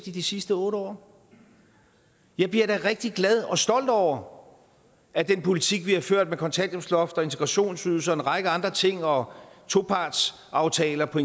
i de sidste otte år jeg bliver da rigtig glad og stolt over at den politik vi har ført med et kontanthjælpsloft og en integrationsydelse og en række andre ting og topartsaftaler på